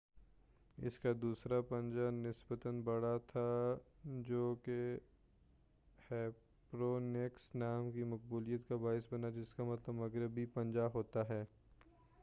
اس کا دوسرا پنجہ نسبتاً بڑا تھا جوکہ ہیسپیرونیکس نام کی مقبولیت کا باعث بنا جس کا مطلب مغربی پنجہ ہوتا ہے